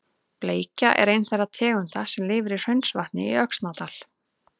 Bleikja er ein þeirra tegunda sem lifir í Hraunsvatni í Öxnadal.